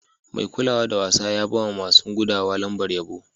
Mai kulawa da wasa ya ba ma masun gudawa lambar yabo.